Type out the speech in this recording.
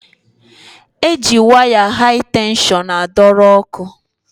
E ji waya hai tenshọn a dọrọ ọkụ.